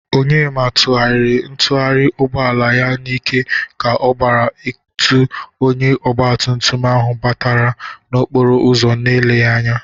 Onyema tụgharïrị ntugharị ugbọala ya n'ike ka ọ gara ikotu onye ọgbatụmtụm ahụ gbabatara n'okporo ụzọ n'eleghi anya.